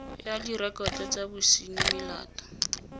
ya direkoto tsa bosenyi melato